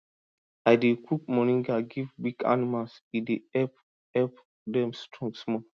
i dey cook moringa give weak animals e dey help help dem strong small